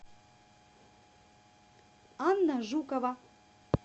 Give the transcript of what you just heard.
анна жукова